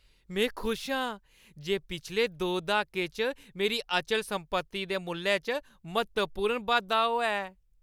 में खुश आं जे पिछले दो द्हाकें च मेरी अचल संपत्ति दे मुल्लै च म्हत्तवपूर्ण बाद्धा होआ ऐ।